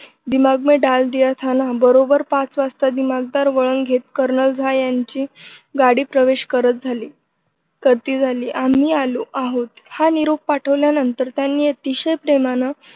दिमाग मे डाल दिया था ना बरोबर पाच वाजता दिमागदार वळण घेत कर्नल झा यांची गाडी प्रवेश करत झाली करती झाली आम्ही आलो आहोत हा निरोप पाठवल्यानंतर त्यानं अतिशय प्रेमानं